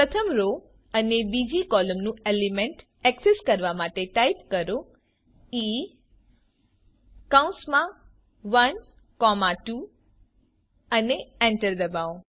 પ્રથમ રો અને બીજી કૉલમનું એલિમેન્ટ ઍક્સેસ કરવા માટે ટાઇપ કરો160E 12 અને એન્ટર દબાવો